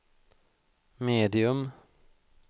medium